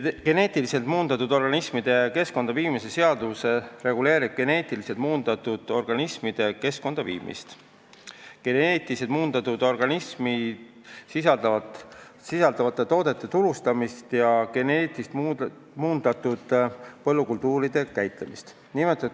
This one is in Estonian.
Geneetiliselt muundatud organismide keskkonda viimise seadus reguleerib geneetiliselt muundatud organismide keskkonda viimist, geneetiliselt muundatud organisme sisaldavate toodete turustamist ja geneetiliselt muundatud põllukultuuride käitlemist.